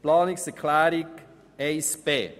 Zu Planungserklärung 1b